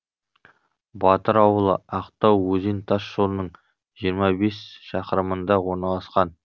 батыр ауылы ақтау өзен тас жолының жиырма бес шақырымында орналасқан